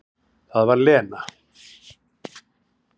Það var Lena.